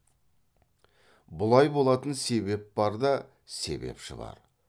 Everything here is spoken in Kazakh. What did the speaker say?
бұлай болатын себеп бар да себепші бар